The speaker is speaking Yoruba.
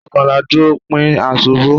Ishokan la duro, pin a ṣubu